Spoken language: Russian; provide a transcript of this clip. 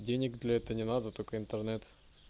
денег для этого не надо только интернет